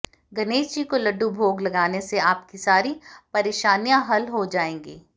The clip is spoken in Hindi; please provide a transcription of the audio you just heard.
गणेश जी को लड्डू भोग लगाने से आपकी सारी परेशनियां हल हो जाएंगी